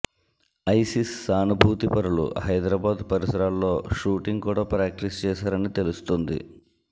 ISIS సానుభూతిపరులు హైదరాబాద్ పరిసరాల్లో shooting కూడా ప్రాక్టీస్ చేశారని తెలుస్తోంది